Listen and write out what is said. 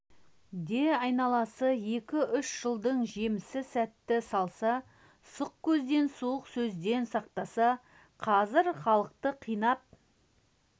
де айналасы екі-үш жылдың жемісі сәтін салса сұқ көзден суық сөзден сақтаса қазір халықты қинап